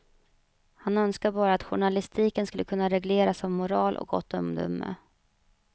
Han önskar bara att journalistiken skulle kunna regleras av moral och gott omdöme.